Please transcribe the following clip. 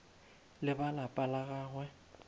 le ba lapa la gagwe